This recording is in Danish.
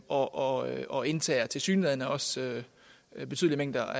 og og indtager tilsyneladende også betydelige mængder